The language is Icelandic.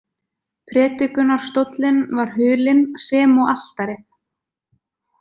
Predikunarstóllinn var hulinn, sem og altarið.